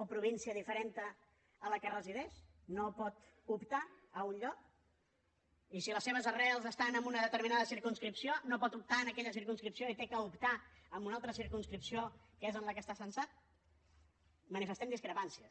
o província diferent a la que resideix no pot optar a un lloc i si les seves arrels estan en una determinada circumscripció no pot optar en aquella circumscripció i ha d’optar en una altra circumscripció que és en la qual està censat manifestem discrepàncies